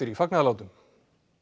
fagnaðarlátum